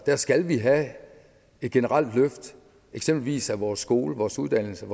skal vi have et generelt løft eksempelvis af vores skoler uddannelser